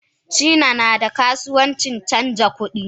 China nada kasuwan canja kudi?